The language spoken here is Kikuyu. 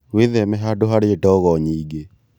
Wĩtheme handũ harĩ ndogo nyingĩ